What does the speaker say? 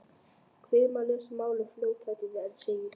Hvimar yfir lesmálið í fljótheitum en segir síðan